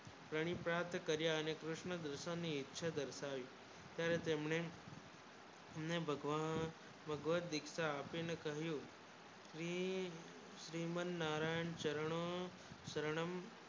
પરિપાટી કર્યા અને કિર્શ્ન ને ઇચ્છા દર્શાવી તર તમને હમને ભગવાન ભગવત દીક્ષા આપી ને કહ્યું શ્રી શ્રીમન નારાયણ ચરણો શરણમ